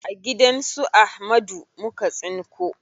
A gidan su Ahmadu muka tsinko.